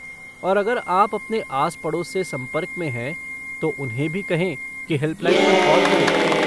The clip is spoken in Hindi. और अगर आप अपने आस पड़ोस से संपर्क में है तो उन्हें भी कहें कि हेल्पलाइन पर कॉल करें।